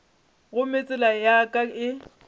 gomme tsela ya ka e